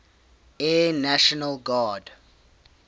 air national guard